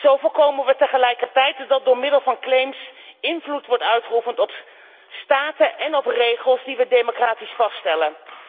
Zo voorkomen we tegelijkertijd dat door middel van claims invloed wordt uitgeoefend op staten en op regels die we democratisch vaststellen.